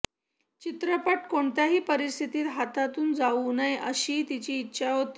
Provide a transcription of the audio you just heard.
चित्रपट कोणत्याही परिस्थितीत हातातून जाऊ नये अशी तिची इच्छा होती